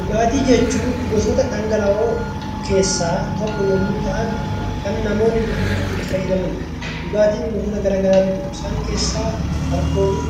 Dhugaatii jechuun gosoota dhangala'oo tokko yommuu ta'an kan namoonni dhuguuf itti fayyadamanidha. Dhugaatiin gosoota garagaraatu jiru isaan keessaa aalkoolii